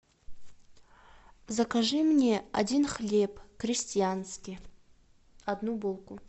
закажи мне один хлеб крестьянский одну булку